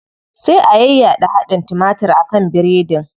Sai a yayyaɗa hadin timatir a kan biredin.